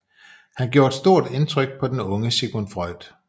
Han gjorde stort indtryk på den unge Sigmund Freud